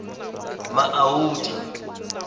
maudi